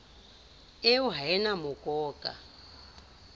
eo ha e na mokoka